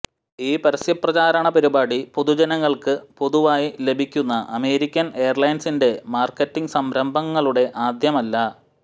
ഈ പരസ്യ പ്രചാരണ പരിപാടി പൊതുജനങ്ങൾക്ക് പൊതുവായി ലഭിക്കുന്ന അമേരിക്കൻ എയർലൈൻസിൻറെ മാർക്കറ്റിംഗ് സംരംഭങ്ങളുടെ ആദ്യമല്ല